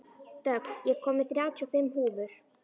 Dögg, ég kom með þrjátíu og fimm húfur!